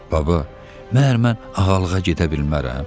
Baba, məhər mən ağalığa gedə bilmərəm?